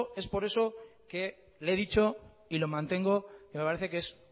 es por eso que le he dicho y lo mantengo que me parece que es